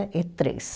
e três